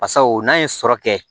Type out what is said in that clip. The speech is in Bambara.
Basaw n'an ye sɔrɔ kɛ